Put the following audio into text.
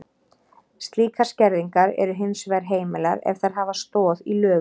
Slíkar skerðingar eru hins vegar heimilar ef þær hafa stoð í lögum.